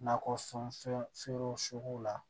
Nakɔ fɛn feere la